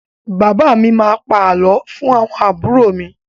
Bàbá mi má a pa àlọ́ fún àwọn àbúrò mi.